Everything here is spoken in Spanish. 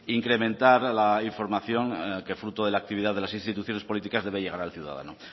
incrementar la información que fruto de la actividad de las instituciones políticas debe llegar al ciudadano